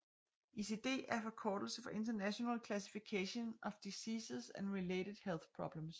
ICD er forkortelse for International Classification of Diseases and Related Health Problems